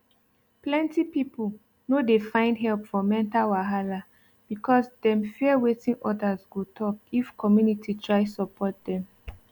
plenty people no dey find help for mental wahala because dem fear wetin others go talk if community try support dem